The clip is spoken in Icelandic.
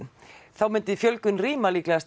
þá myndi fjölgun rýma líklegast